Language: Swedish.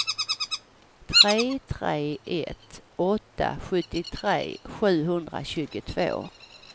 tre tre ett åtta sjuttiotre sjuhundratjugotvå